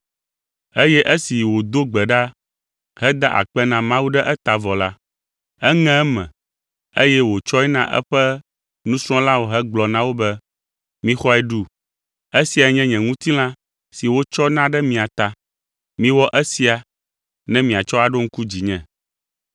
eye esi wòdo gbe ɖa heda akpe na Mawu ɖe eta vɔ la, eŋe eme, eye wòtsɔe na eƒe nusrɔ̃lawo hegblɔ na wo be, “Mixɔe ɖu. Esiae nye nye ŋutilã si wotsɔ na ɖe mia ta. Miwɔ esia ne miatsɔ aɖo ŋku dzinye.”